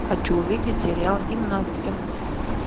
хочу увидеть сериал гимнастки